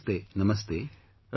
Namaste Namaste